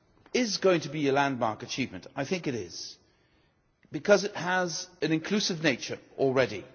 is going to be a landmark achievement, I think, because it has an inclusive nature already.